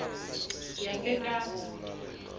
sasekapa